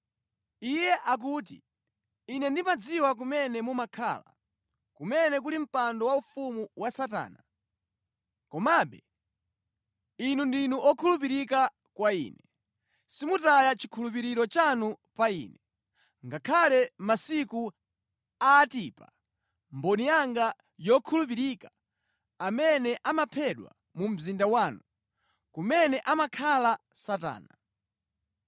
Iye akuti, ‘Ine ndimadziwa kumene mumakhala, kumene kuli mpando waufumu wa Satana. Komabe inu ndinu okhulupirika kwa Ine. Simunataye chikhulupiriro chanu pa Ine, ngakhale mʼmasiku a Antipa, mboni yanga yokhulupirika, amene anaphedwa mu mzinda wanu, kumene amakhala Satana.